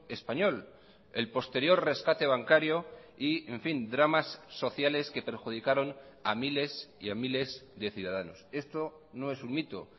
español el posterior rescate bancario y en fin dramas sociales que perjudicaron a miles y a miles de ciudadanos esto no es un mito